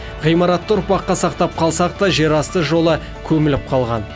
ғимаратты ұрпаққа сақтап қалсақ та жерасты жолы көміліп қалған